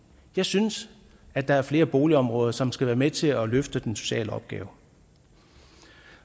jeg synes at der er flere boligområder som skal være med til at løfte den sociale opgave